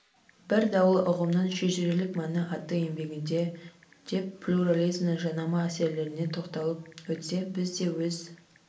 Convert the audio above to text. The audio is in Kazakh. бір даулы ұғымның шежірелік мәні атты еңбегінде деп плюрализмнің жанама әсерлеріне тоқталып өтсе біз де өз